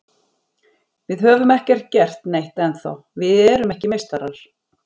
Við höfum ekki gert neitt ennþá, við erum ekki meistarar.